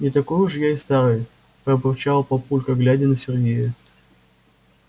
не такой уж я и старый пробурчал папулька глядя на сергея